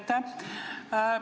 Aitäh!